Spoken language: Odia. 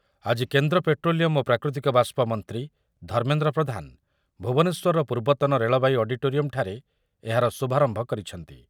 ଆଜି କେନ୍ଦ୍ର ପେଟ୍ରୋଲିୟମ୍ ଓ ପ୍ରାକୃତିକ ବାଷ୍ପ ମନ୍ତ୍ରୀ ଧର୍ମେନ୍ଦ୍ର ପ୍ରଧାନ ଭୁବନେଶ୍ୱରର ପୂର୍ବତନ ରେଳବାଇ ଅଡି଼ଟୋରିୟମ ଠାରେ ଏହାର ଶୁଭାରମ୍ଭ କରିଛନ୍ତି ।